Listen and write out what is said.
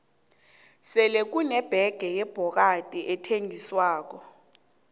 sele kune bege yebhokadi ethengiswako